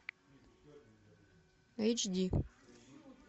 эйч ди